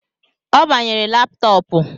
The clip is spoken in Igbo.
Ọ gbanyere laptọọpu